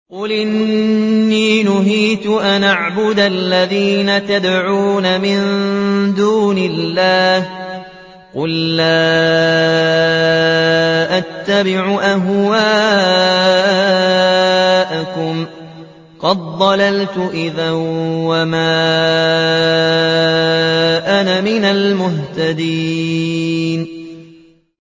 قُلْ إِنِّي نُهِيتُ أَنْ أَعْبُدَ الَّذِينَ تَدْعُونَ مِن دُونِ اللَّهِ ۚ قُل لَّا أَتَّبِعُ أَهْوَاءَكُمْ ۙ قَدْ ضَلَلْتُ إِذًا وَمَا أَنَا مِنَ الْمُهْتَدِينَ